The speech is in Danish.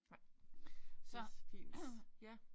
Nej. Det så fint ja